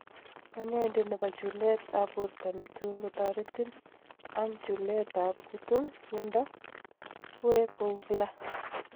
Kanyaindet nebo chulet ab borto netun kotaretin ang chulet ab kutung�undo kuwek kouu kila.